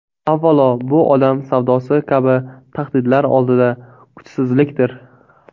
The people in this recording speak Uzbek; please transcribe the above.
Avvalo bu odam savdosi kabi tahdidlar oldida kuchsizlikdir .